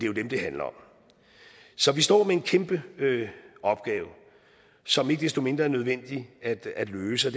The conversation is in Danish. jo dem det handler om så vi står med en kæmpe opgave som ikke desto mindre er nødvendig at løse